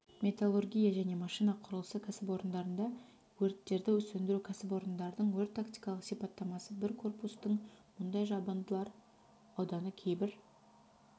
металлургия және машина құрылысы кәсіпорындарында өрттерді сөндіру кәсіпорындардың өрт-тактикалық сипаттамасы бір корпустың мұндай жабындылар ауданы кейбір